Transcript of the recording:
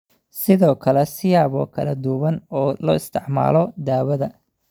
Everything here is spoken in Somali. Sidoo kale, siyaabo kala duwan oo loo isticmaalo daawada